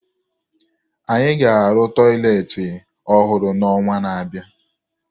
Anyị ga-arụ tọyịleetị ọhụrụ n'ọnwa na-abịa